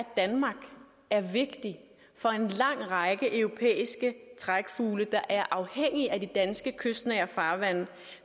danmark er vigtig for en lang række europæiske trækfugle der er afhængige af de danske kystnære farvande